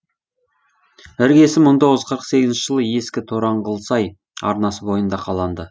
іргесі мың тоғыз жүз қырық сегізінші жылы ескі тораңғылсай арнасы бойында қаланды